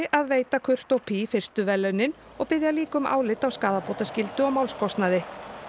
að veita fyrstu verðlaunin og biðja líka um álit á skaðabótaskyldu og málskostnaði